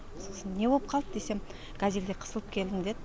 сосын не боп қалды десем газельде қысылып келдім деді